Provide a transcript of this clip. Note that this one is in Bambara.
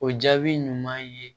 O jaabi ɲuman ye